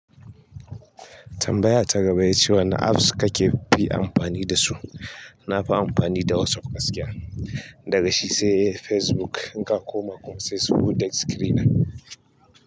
Tambaya ta gaba ya ce wane apps kakefi amfani dasu? Na fi amfani da WhatsApp gaskiya. Daga shi sai Facebook. In ka koma kunsai, su da screen ɗin.